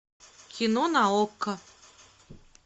кино на окко